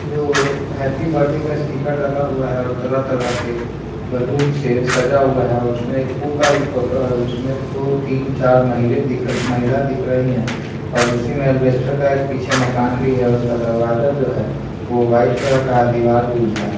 जो happy birthday का sticker लगा हुआ है और तरह-तरह के बल्लून से सजा हुआ है और उसमे एक पु का भी फोटो है और उसमें दो-तीन चार महीले दिख महिला दिख रहीं हैं और उसी में अल्वेस्टर का एक पीछे मकान भी है और उसका दरवाज़ा जो है वो वाइट कलर का दिवार भी उजला है।